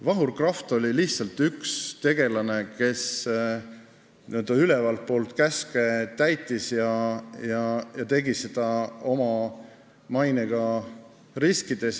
Vahur Kraft oli lihtsalt üks tegelane, kes ülevalt poolt käske täitis ja tegi seda oma mainega riskides.